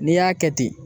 N'i y'a kɛ ten